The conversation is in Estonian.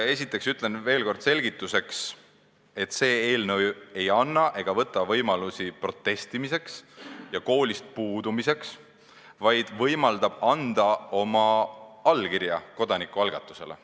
Esiteks ütlen veel kord selgituseks, et see eelnõu ei anna ega võta võimalusi protestimiseks ja koolist puudumiseks, vaid võimaldab anda oma allkirja kodanikualgatusele.